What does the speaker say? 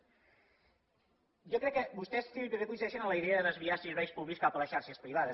jo crec que vostès també coincideixen en la idea de desviar serveis públics cap a les xarxes privades